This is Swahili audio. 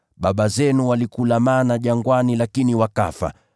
Baba zenu walikula mana jangwani, lakini wakafa.